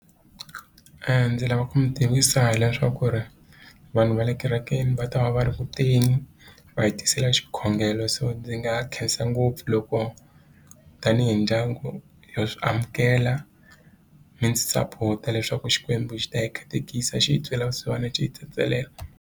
ndzi lava ku mi tivisa hileswaku ri vanhu va le kerekeni va ta va va ri kuteni va hi tisela xikhongelo so ndzi nga khensa ngopfu loko tanihi ndyangu yo swi amukela mi ndzi sapota leswaku Xikwembu xi ta hi katekisa xi hi twela vusiwana xi tsetselela.